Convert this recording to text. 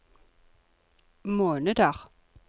måneder